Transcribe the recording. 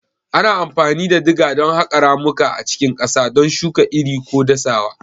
Ana amfani da diga don haƙa ramuka a cikin ƙasa, don shuka iri ko dasawa.